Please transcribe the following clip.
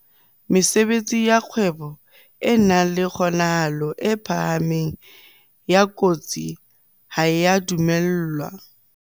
Mesebetsi ya kgwebo e nang le kgonahalo e phahameng ya kotsi ha e a dumellwa.